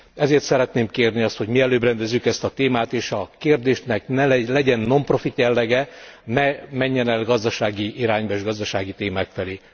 Ezért szeretném kérni azt, hogy mielőbb rendezzük ezt a témát és a kérdésnek legyen nonprofit jellege, ne menjen el gazdasági irányba és gazdasági témák felé.